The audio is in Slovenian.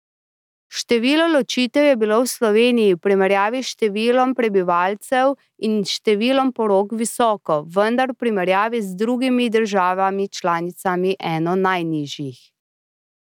Število ločitev je bilo v Sloveniji v primerjavi s številom prebivalcev in številom porok visoko, vendar v primerjavi z drugimi državami članicami eno najnižjih.